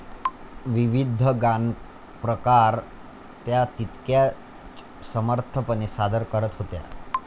विविध गानप्रकार त्या तितक्याच समर्थपणे सादर करत होत्या.